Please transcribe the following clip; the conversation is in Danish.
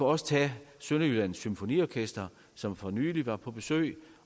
også tage sønderjyllands symfoniorkester som for nylig var på besøg